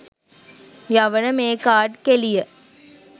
යවන මේ කාඩ් කෙළිය